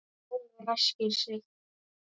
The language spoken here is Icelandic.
Jón ræskir sig.